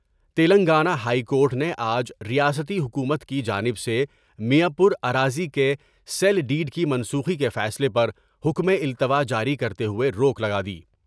Telangana high court نے آج ریاستی حکومت کی جانب سے میاں پورا راضی کے سیل ڈیڈ کی منسوٹی کے فیصلے پر حکم التواء جاری کرتے ہوئے روک لگادی ۔